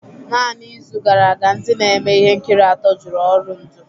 Naanị izu gara aga, ndị na-eme ihe nkiri atọ jụrụ ọrụ ndu